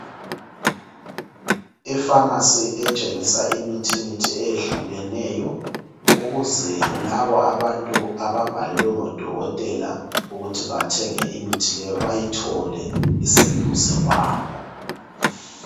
Ifamasi etshengisa imithi mithi eyehlukeneyo ukuze labo abantu ababhalelwe ngodokotela ukuthi bathenge imithi leyo bayithole iseduze kwabo.